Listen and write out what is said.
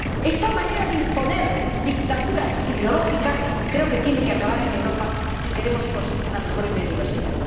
Esta manera de imponer dictaduras ideológicas creo que tiene que acabar en Europa si queremos conseguir una mejor biodiversidad.